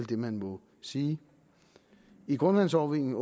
det man må sige i grundvandsovervågningen